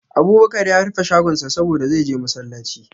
Abubakar ya rufe shagonsa saboda, zai je masallaci.